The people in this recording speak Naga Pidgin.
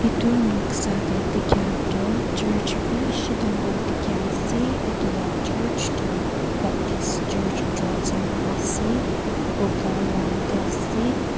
edu noksa de dikhia toh church bishi dangor dikhia ase etu la church toh baptist church jotsoma ase buga rang de ase.